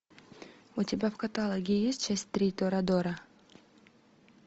у тебя в каталоге есть часть три торадора